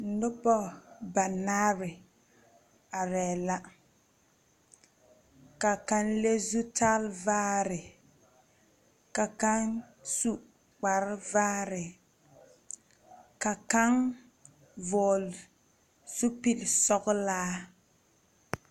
Nuba banaare la arẽ la ka kang lɛ zutari vaare ka kang su kpare vaare ka kang vɔgli zupili sɔglaa.